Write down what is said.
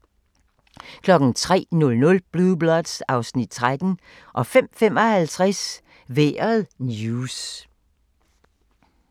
03:00: Blue Bloods (Afs. 13) 05:55: Vejret news